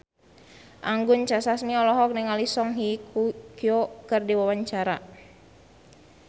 Anggun C. Sasmi olohok ningali Song Hye Kyo keur diwawancara